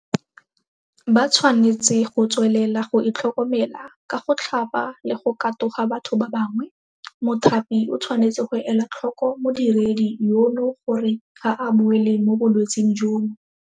Ba tshwanetse go tswelela go itlhokomela ka go tlhapa le go katoga batho ba bangwe. Mothapi o tshwanetse go ela tlhoko modiredi yono gore ga a boele mo bolwetseng jono.